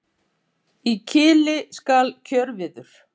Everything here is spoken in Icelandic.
í kili skal kjörviður